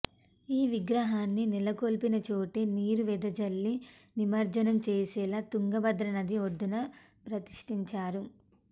ఈ విగ్రహాన్ని నెలకొల్పిన చోటే నీరు వెదజల్లి నిమజ్జనం చేసేలా తుంగభద్ర నది ఒడ్డున ప్రతిష్ఠించారు